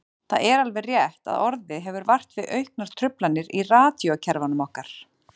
Það er alveg rétt að orðið hefur vart við auknar truflanir í radíókerfunum okkar.